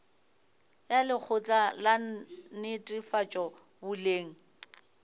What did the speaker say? ya lekgotla la netefatšo boleng